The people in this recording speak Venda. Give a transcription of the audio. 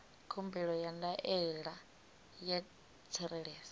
khumbelo ya ndaela ya tsireledzo